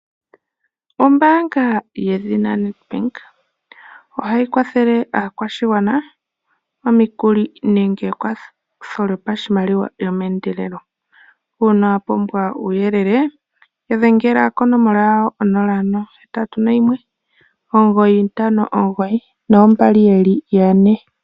Ombaanga yedhina Nedbank, ohayi kwathele aakwashigwana omikuli nenge ekwatho lyopashimaliwa lyomehendelelo. Uuna wapumbwa uuyelele, dhengela konomola 0819592222